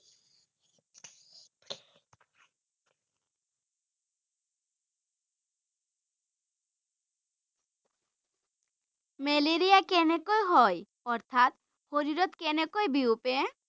Malaria কেনেকৈ হয় অৰ্থাৎ শৰীৰত কেনেকৈ বিয়পে?